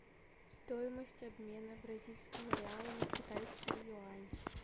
стоимость обмена бразильского реала на китайские юани